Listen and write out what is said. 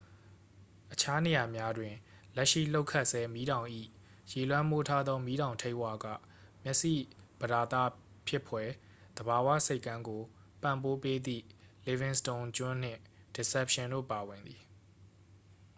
အခြားနေရာများတွင် လက်ရှိလှုပ်ခတ်ဆဲ မီးတောင်၏ ရေလွှမ်းမိုးထားသော မီးတောင်ထိပ်ဝက မျက်စိပသာဒဖြစ်ဖွယ် သဘာဝဆိပ်ကမ်းကို ပံ့ပိုးပေးသည့် livingston ကျွန်းနှင့် deception တို့ပါဝင်သည်